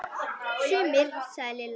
Sumir sagði Lilla.